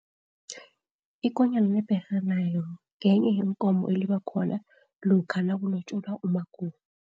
Ikonyana lebherha nayo ngenye yeenkomo eliba khona lokha nakulotjolwa umakoti.